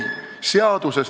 Palun lisaaega!